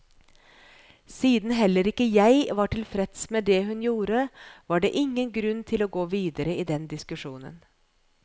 Siden heller ikke jeg var tilfreds med det hun gjorde, var det ingen grunn til å gå videre i den diskusjonen.